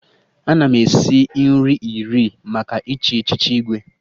Ana m esi nri iri maka ịchị echiche Igwe